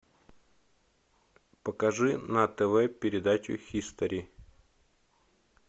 покажи на тв передачу хистори